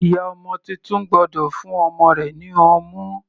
Ìyá ọmọ titun gbọ́dọ̀ fún ọmọ rẹ̀ ní ọmú.